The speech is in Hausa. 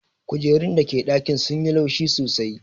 Kujerun da ke dakina sun yi laushi sosai.